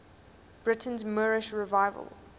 britain's moorish revival